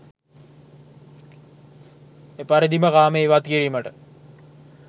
එපරිදිම කාමය ඉවත් කිරීමට